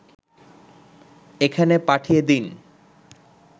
এখানে পাঠিয়ে দিন